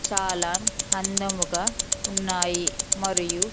చాలా అందముగా ఉన్నాయి మరియు--